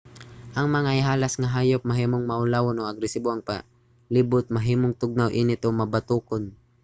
ang mga ihalas nga hayop mahimong maulawon o agresibo. ang palibot mahimong tugnaw init o mabatokon